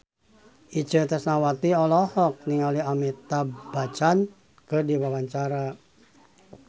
Itje Tresnawati olohok ningali Amitabh Bachchan keur diwawancara